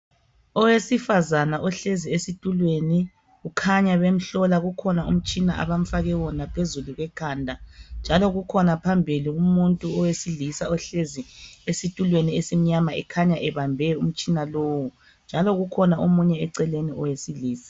Owesifazana ohlezi esitulweni, ukhanya bemhlola, ukhona umtshina abamfake wona phezulu ekhanda njalo kukhona phambili umuntu wesilisa ohlezi esitulweni esimnyama ekhanye ebambe umtshina lowo. Njalo kukhona omunye eceleni owesilisa.